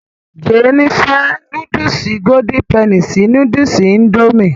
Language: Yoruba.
Jéènì fẹ́ núdùsì golden penny sí núdùsì indomie